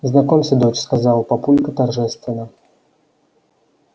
знакомься дочь сказал папулька торжественно